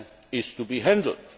is to be handled.